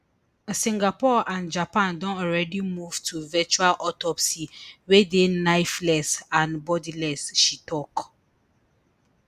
singapore and japan don already move to virtual autopsy wey dey knifeless and bloodless she tok